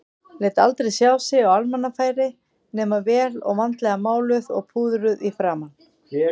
Lét aldrei sjá sig á almannafæri nema vel og vandlega máluð og púðruð í framan.